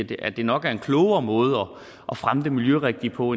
i at det nok er en klogere måde at fremme det miljørigtige på